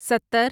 ستر